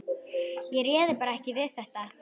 Ég réði bara ekki við þetta.